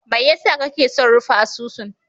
Mai yasa kake son rufe asusun?